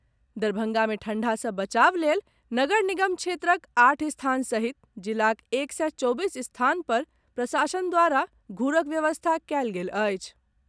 दरभंगा मे ठंढा सँ बचाव लेल नगर निगम क्षेत्रक आठ स्थान सहित जिलाक एक सय चौबीस स्थान पर प्रशासन द्वारा घूरकड व्यवस्था कैल गेल अछि।